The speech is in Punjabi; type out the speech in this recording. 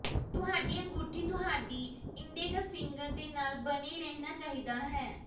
ਤੁਹਾਡੀ ਅੰਗੂਠੀ ਤੁਹਾਡੀ ਇੰਡੈਕਸ ਫਿੰਗਰ ਦੇ ਨਾਲ ਬਣੇ ਰਹਿਣਾ ਚਾਹੀਦਾ ਹੈ